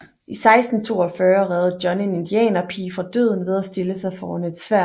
I 1642 reddede John en indianerpige fra døden ved at stille sig foran et sværd